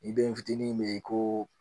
I bɛ n fitinin min ko